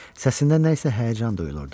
Səsində nəsə həyəcan duyulurdu.